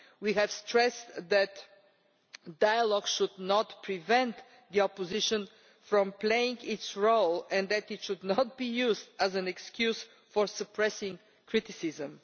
We have stressed that dialogue should not prevent the opposition from playing its role and that it should not be used as an excuse for suppressing criticism.